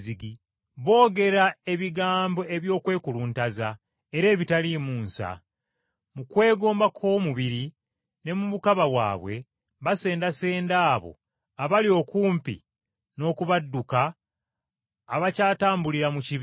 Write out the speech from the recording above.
Boogera ebigambo eby’okwekuluntaza era ebitaliimu nsa. Mu kwegomba kw’omubiri ne mu bukaba bwabwe basendasenda abo abali okumpi n’okubadduka abakyatambulira mu kibi.